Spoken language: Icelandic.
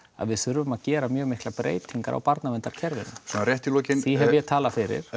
að við þurfum að gera mjög miklar breytingar á barnaverndarkerfinu því hef ég talað fyrir